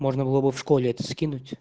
можно было бы в школе и тоски